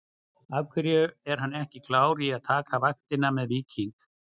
Af hverju er hann ekki klár í að taka vaktina með Víking?